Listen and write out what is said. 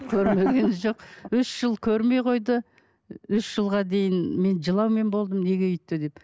көрмегені жоқ үш жыл көрмей қойды үш жылға дейін мен жылаумен болдым неге өйтті деп